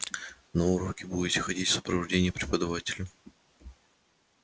на уроки будете ходить в сопровождении преподавателя